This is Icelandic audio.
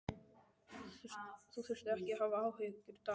Þú þarft ekki að hafa áhyggjur, Dagný.